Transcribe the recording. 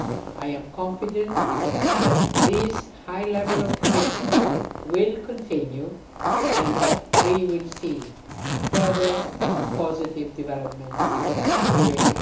I am confident that this high level of commitment will continue and that we will see further positive developments during